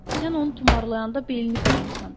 Sən onu tumarlayanda belini qırmısan.